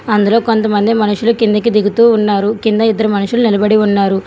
అందులో కొంతమంది మనుషులు కిందికి దిగుతూ ఉన్నారు కింద ఇద్దరు మనుషులు నిలబడి ఉన్నారు.